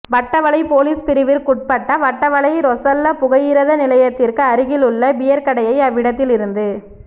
Watawala police பிரிவிற்குட்பட்ட வட்டவளை ரொசல்ல புகையிரத நிலையத்திற்கு அருகில் உள்ள பியர் கடையை அவ்விடத்தில் இருந்து